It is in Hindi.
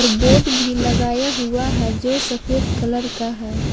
बोर्ड भी लगाया हुआ है जो सफेद कलर का है।